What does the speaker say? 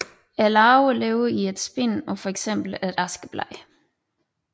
Larverne lever i et spind på fx et askeblad